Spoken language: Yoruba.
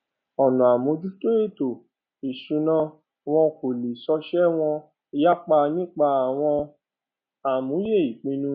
ọnà àmójútó ètò ìsúná wón kò lọ sòòsé wón yapa nípa àwọn àmúyẹ ìpínnu